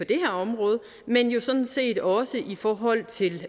det her område men jo sådan set også i forhold til